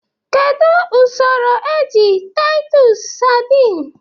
Kedu usoro eji titus sardines?